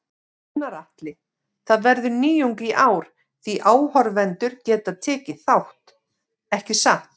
Gunnar Atli: Það verður nýjung í ár því áhorfendur geta tekið þátt, ekki satt?